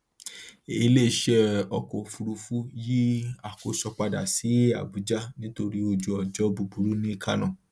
iléiṣẹ ọkọ òfuurufú yí àkóso padà sí abuja nítorí ojúọjọ búburú ní kánò